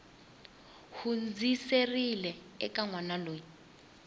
hundziserile eka n wana loyi